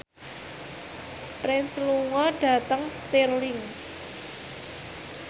Prince lunga dhateng Stirling